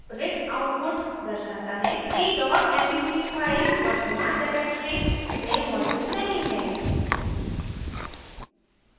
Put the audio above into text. रिक्त output दर्शाता है कि dot mp3 file वर्तमान directory में मौजूद नहीं है